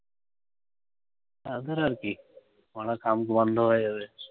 তাদের আর কী, পড়া কাম বন্ধ হয়ে যাবে।